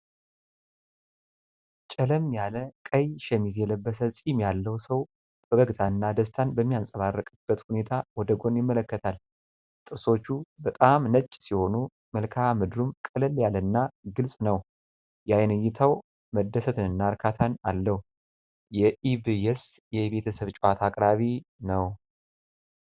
ጨለም ያለ ቀይ ሸሚዝ የለበሰ ፂም ያለው ሰው ፈገግታና ደስታ በሚንጸባረቅበት ሁኔታ ወደ ጎን ይመለከታል። ጥርሶቹ በጣም ነጭ ሲሆኑ መልክዓ ምድሩም ቀለል ያለና ግልጽ ነው። የአይን እይታው መደሰትንና እርካታን አለው። የኢብየስ የቤተሰብ ጨዋታ አቅራቢ ነው።